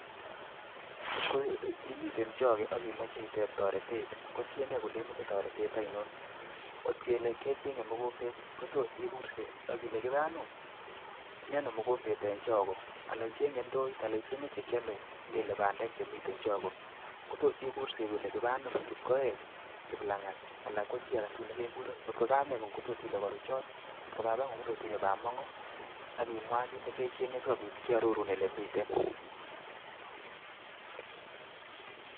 Ngotko imiten choge akimoche itep toretet, kotiengei kele imochei toret aino. Ngotkele kecheng'e mogombet kotos igurse akile kipanum mieno mogombet eng choge alaicheng'e ndooit ala icheng'e bandek chekiamei kotos igurse ile kipanum, kipkoech, kiplang'at anan ko chi agetul nekegur. Kotko kameng'ung kototile karuchon kotko babang'ung' kotot ile bamung'o akimwa kit negecheng'e sikobit kiarorun ole miten.